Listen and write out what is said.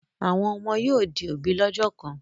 Àwọn ọmọ yóò di òbí lọ́jọ́ kan.